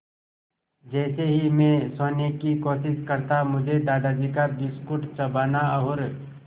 जैसे ही मैं सोने की कोशिश करता मुझे दादाजी का बिस्कुट चबाना और